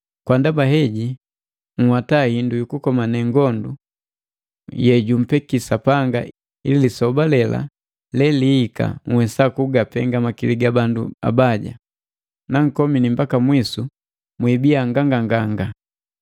Kwa ndaba heji, nhwata hindu yu kukomane ngondu yejumpeki Sapanga ili lisoba lela elihika nhwesa kugapenga makili ga bandu abaja, na nkomini mbaka mwisu, mwibiya mwakona nganganganga.